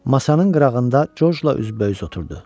Masanın qırağında Corcla üz-bəüz oturdu.